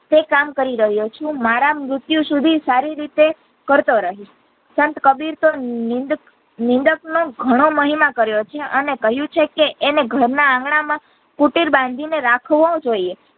તે કામ કરી રહ્યો છું મારા મૃત્યુ સુધી સારી રીતે કરતો રહીશ સંત કબીર તો નીંદ નિંદક નો ઘણો મહિમા કર્યો છે અણે કહ્યું છે કે અને ઘરના આંગણા માં કુટિર બાંધી ને રાખવો જોઈએ